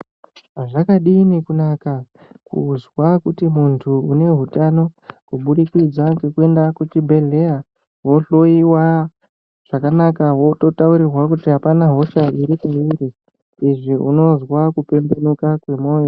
Zvakadini kunaka kuzwa kuti munhu uneutano kuburikidza ngekuenda kuchibhehleya wehloyiwa zvakanaka wotaurirwa kuti apana hosha iripeuri izvi unozwa kupembenuka kwemoyo.